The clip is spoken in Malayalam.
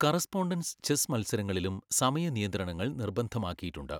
കറസ്പോണ്ടൻസ് ചെസ്സ് മത്സരങ്ങളിലും സമയ നിയന്ത്രണങ്ങൾ നിർബന്ധമാക്കിയിട്ടുണ്ട്.